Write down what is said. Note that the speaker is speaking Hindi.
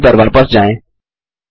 टर्मिनल पर वापस जाएँ